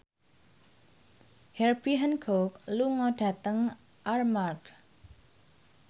Herbie Hancock lunga dhateng Armargh